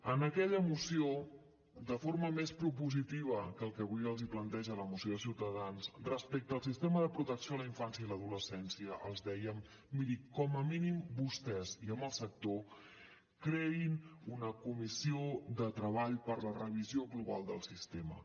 en aquella moció de forma més propositiva que el que avui els planteja la moció de ciutadans respecte al sistema de protecció a la infància i a l’adolescència els dèiem miri com a mínim vostès i amb el sector creïn una comissió de treball per a la revisió global del sistema